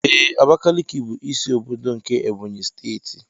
Ee Abakiliki bụ ịsị ọbọdọ nke Ebonyi steeti.